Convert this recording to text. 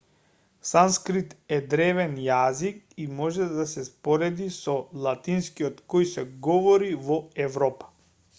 санскрит е древен јазик и може да се спореди со латинскиот кој се говори во европа